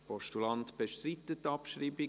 Der Postulant bestreitet die Abschreibung.